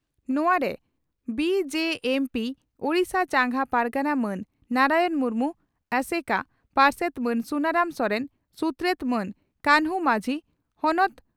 ᱱᱚᱣᱟᱨᱮ ᱵᱹᱡᱹᱢᱹᱯᱹ ᱳᱰᱤᱥᱟ ᱪᱟᱸᱜᱟ ᱯᱟᱨᱜᱟᱱᱟ ᱢᱟᱱ ᱱᱟᱨᱟᱭᱚᱬ ᱢᱩᱨᱢᱩ, ᱳᱹᱥᱹᱜᱠᱠᱹ ᱯᱟᱨᱥᱮᱛ ᱢᱟᱱ ᱥᱩᱱᱟᱨᱟᱢ ᱥᱚᱨᱮᱱ, ᱥᱩᱛᱨᱮᱛ ᱢᱟᱱ ᱠᱟᱱᱦᱩ ᱢᱟᱹᱡᱷᱤ, ᱦᱚᱱᱚᱛ